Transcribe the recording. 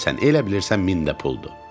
elə bilirsən min də puldur.